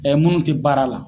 minnu te baara la